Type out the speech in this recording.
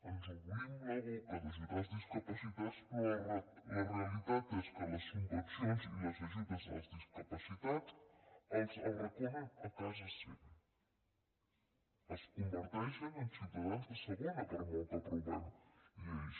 ens omplim la boca d’ajudar els discapacitats però la realitat és que les subvencions i les ajudes als discapacitats els arraconen a casa seva els converteixen en ciutadans de segona per molt que aprovem lleis